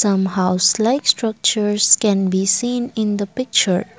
some house like structures can be seen in the picture.